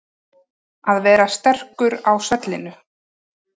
Að vera sterkur á svellinu